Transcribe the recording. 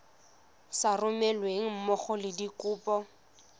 sa romelweng mmogo le dikopo